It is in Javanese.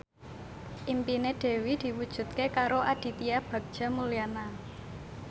impine Dewi diwujudke karo Aditya Bagja Mulyana